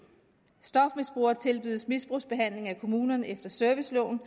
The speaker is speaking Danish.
stofmisbrugerne tilbydes misbrugsbehandling af kommunerne efter serviceloven